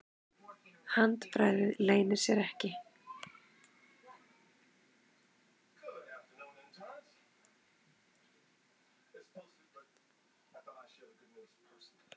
Handbragðið leynir sér ekki.